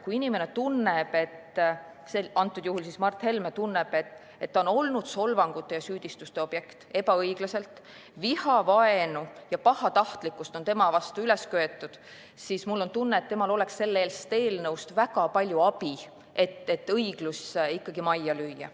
Kui inimene – antud juhul Mart Helme – tunneb, et ta on olnud ebaõiglaselt solvangute ja süüdistuste objekt, tema vastu on vihavaenu ja pahatahtlikkust üles köetud, siis mul on tunne, et temal oleks sellest eelnõust väga palju abi, et õiglus ikkagi majja lüüa.